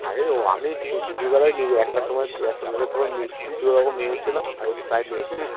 আরে আমি কি দুপুর বেলায় একটার সময় একটা দুটোর সময় মিষ্টি দুরকম নিয়ে এসেছিলাম আর ওই sprite নিয়েছিলাম